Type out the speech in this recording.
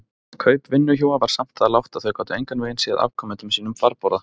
Kaup vinnuhjúa var samt það lágt að þau gátu engan veginn séð afkomendum sínum farborða.